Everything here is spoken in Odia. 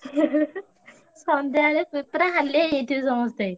ସନ୍ଧ୍ୟା ବେଳେକୁ ହାଲିଆ ହେଇଯାଇଥିବେ ସମସ୍ତେ।